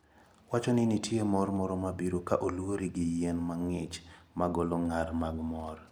Wacho ni nitie mor moro mabiro ka olwori gi yien mang`ich magolo ng`ar mag mor.